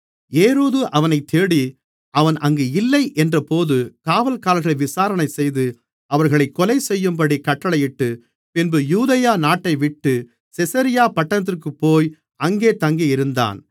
ஏரோது அவனைத் தேடி அவன் அங்கு இல்லை என்றபோது காவல்காரர்களை விசாரணைசெய்து அவர்களைக் கொலைசெய்யும்படி கட்டளையிட்டு பின்பு யூதேயா நாட்டைவிட்டு செசரியா பட்டணத்திற்குப்போய் அங்கே தங்கியிருந்தான்